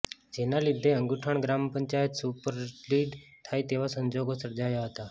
જેના લીધે અંગુઠણ ગ્રામ પંચાયત સુપરસીડ થાય તેવા સંજોગો સર્જાયા હતા